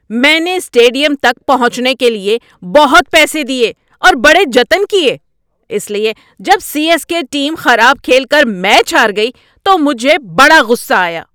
میں نے اسٹیڈیم تک پہنچنے کے لیے بہت پیسے دیے اور بڑے جتن کیے، اس لیے جب سی ایس کے ٹیم خراب کھیل کر میچ ہار گئی تو مجھے بڑا غصہ آیا۔